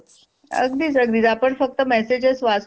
अगदी अगदींच आपण फक्त म्यासेजेस वाचतो.